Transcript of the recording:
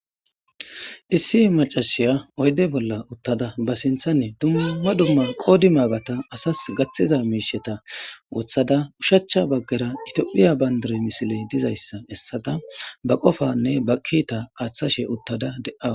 Issi macashiya oydde bolla uttada ba sinththan dumma dumma qoodi maagata asasi gaththiza mishsheta woththada ushshacha baggera tophphiya banddira missiley diizayssa bessada ba qoffanne ba kiita aththashe uttada de'awussu.